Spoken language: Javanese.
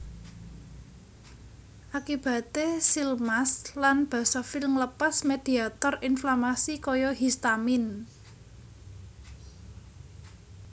Akibate seal mast lan basofil nglepas mediator inflamasi kaya histamin